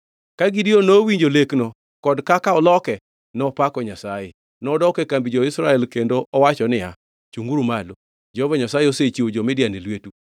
Ka Gideon nowinjo lekno kod kaka oloke, nopako Nyasaye. Nodok e kambi jo-Israel kendo owacho niya, “Chungʼuru malo! Jehova Nyasaye osechiwo jo-Midian e lwetu.”